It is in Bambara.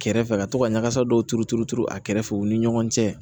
Kɛrɛfɛ ka to ka ɲagasa dɔw turu turu turu a kɛrɛfɛ u ni ɲɔgɔn cɛ